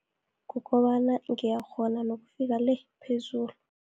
Kukobana ngiyakghona nokufika le, phezulu.